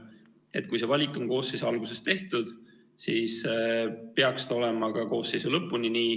Ehk kui see valik on koosseisu alguses tehtud, siis peaks see olema ka koosseisu lõpuni nii.